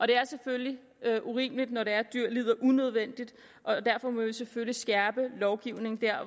det er selvfølgelig urimeligt når dyr lider unødvendigt og derfor må vi selvfølgelig skærpe lovgivningen